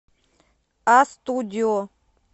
а студио